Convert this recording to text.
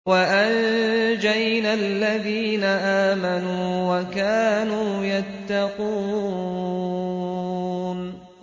وَأَنجَيْنَا الَّذِينَ آمَنُوا وَكَانُوا يَتَّقُونَ